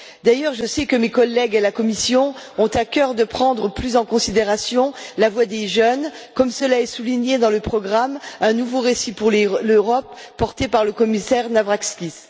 D'ailleurs, je sais que mes collègues à la Commission ont à cœur de prendre plus en considération la voix des jeunes, comme cela est souligné dans le programme Un nouveau récit pour l'Europe, porté par le commissaire Navracsics.